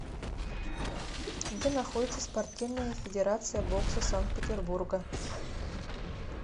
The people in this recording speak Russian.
где находится спортивная федерация бокса санкт петербурга